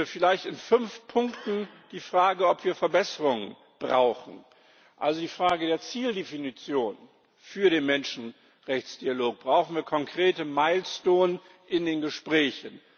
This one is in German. Vielleicht in fünf Punkten die Frage, ob wir Verbesserungen brauchen, also die Frage der Zieldefinition für den Menschenrechtsdialog, brauchen wir konkrete milestones in den Gesprächen.